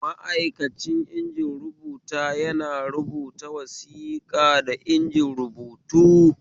Ma'aikacin injin rubuta yana rubata wasiƙa da inji rubutu